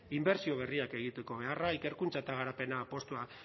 inbertsio berriak egiteko beharra ikerkuntza eta garapen apustua